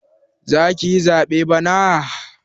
Zakayi zaɓe bana?